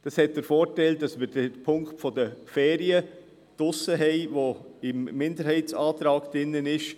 Das hat den Vorteil, dass wir den Punkt der Ferien raushaben, der im Minderheitsantrag drin ist.